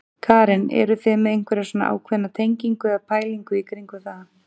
Karen: Eruð þið með einhverja svona ákveðna tengingu eða pælingu í kringum það?